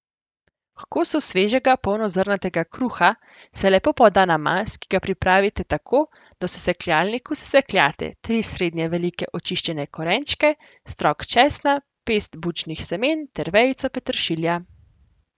H kosu svežega polnozrnatega kruha se lepo poda namaz, ki ga pripravite tako, da v sekljalniku sesekljate tri srednje velike očiščene korenčke, strok česna, pest bučnih semen ter vejico peteršilja.